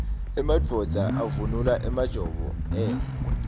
emadvodza avunula emajobo engwe